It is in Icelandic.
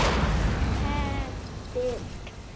Ketill